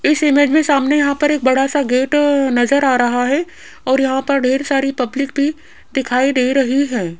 इस इमेज में सामने यहां पर एक बड़ा सा गेट नजर आ रहा है और यहां पर ढेर सारी पब्लिक भी दिखाई दे रही है।